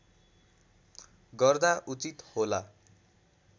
गर्दा उचित होला